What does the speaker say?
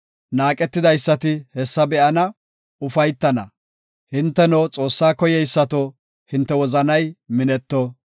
Naaqetidaysati hessa be7ana; ufaytana; hinteno, Xoossaa koyeysato, hinte wozanay minetto.